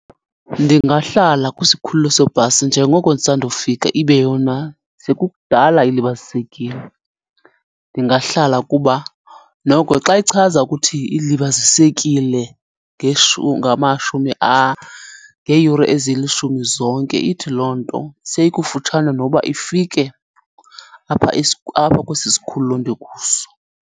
Ndingahlala kwisikhululo sebhasi njengoko ndisandofika ibe yona sekukudala ilibazisekile. Ndingahlala kuba noko xa ichaza ukuthi ilibazisekile ngamashumi ngeeyure ezilishumi zonke ithi loo nto seyikufutshane noba ifike apha , apha kwesi sikhululo ndikuso.